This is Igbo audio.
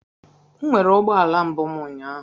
M nwere ụgbọala mbụ m ụnyaahụ.